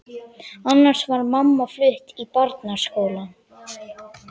Annars var mamma flutt í Barnaskólann.